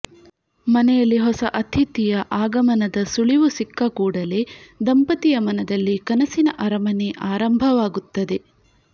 ಮನೆಯಲ್ಲಿ ಹೊಸ ಅತಿಥಿಯ ಆಗಮನದ ಸುಳಿವು ಸಿಕ್ಕ ಕೂಡಲೇ ದಂಪತಿಯ ಮನದಲ್ಲಿ ಕನಸಿನ ಅರಮನೆ ಆರಂಭವಾಗುತ್ತದೆ